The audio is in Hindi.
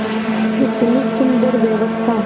कितनी सुंदर व्यवस्था